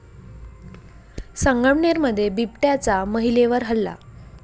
संगमनेरमध्ये बिबट्याचा महिलेवर हल्ला